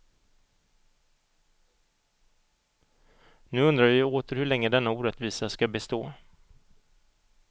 Nu undrar vi åter hur länge denna orättvisa ska bestå.